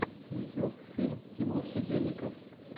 ютьюб фильм тимур сидельников